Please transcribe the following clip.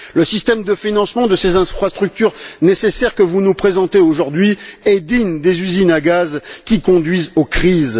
Le système de financement de ces infrastructures nécessaires que vous nous présentez aujourd'hui est digne des usines à gaz qui conduisent aux crises.